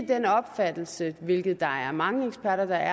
den opfattelse hvilket der er mange eksperter der